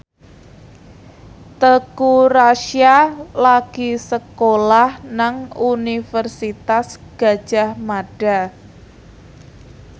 Teuku Rassya lagi sekolah nang Universitas Gadjah Mada